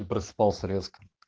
и просыпался резко